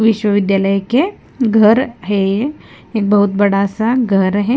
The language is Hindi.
विश्वविद्यालय के घर है एक बहुत बड़ा सा घर है।